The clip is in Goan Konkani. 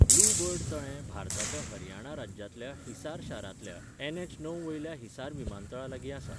ब्लू बर्ड तळें भारताच्या हरियाणा राज्यांतल्या हिसार शारांतल्या एनएच णव वयल्या हिसार विमानतळा लागीं आसा.